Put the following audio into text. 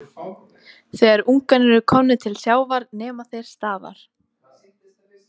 Þegar ungarnir eru komnir til sjávar nema þeir staðar.